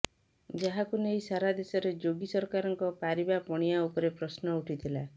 ଯାହାକୁ ନେଇ ସାରା ଦେଶରେ ଯୋଗୀ ସରକାରଙ୍କ ପାରିବା ପଣିଆ ଉପରେ ପ୍ରଶ୍ନ ଉଠିଥିଲା